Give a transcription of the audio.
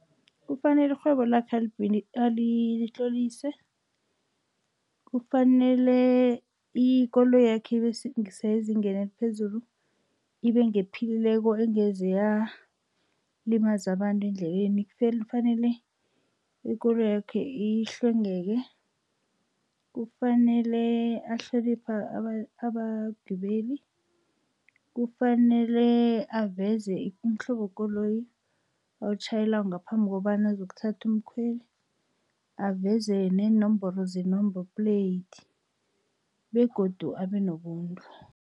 Kufanele irhwebo lakhe alitlolise, kufanele ikoloyi yakhe ibe sezingeni eliphezulu, ibe ngephilileko, engeze yalimaza abantu endleleni. Kufanele ikoloyakhe ihlwengeke, kufanele ahloniphe abagibeli, kufanele aveze umhlobo wekoloyi awutjhayelako ngaphambi kobana azokuthatha umkhweli, aveze neenomboro ze-number plate begodu abe nobuntu.